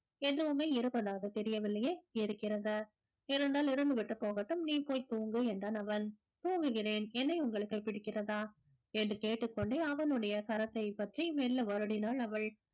எதுவுமே இருப்பதாக தெரியவில்லையே இருக்கிறது இருந்தால் இருந்துவிட்டு போகட்டும் நீ போய் தூங்கு என்றான் அவன் தூங்குகிறேன் என்னை உங்களுக்கு பிடிக்கிறதா என்று கேட்டுக் கொண்டே அவனுடைய கரத்தைப் பற்றி மெல்ல வருடினாள் அவள்